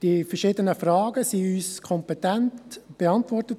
Die verschiedenen Fragen wurden uns kompetent beantwortet.